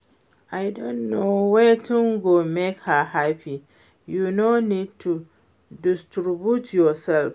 I don know wetin go make her happy. You no need to disturb yourself